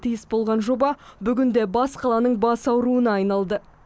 тиіс болған жоба бүгінде бас қаланың бас ауруына айналды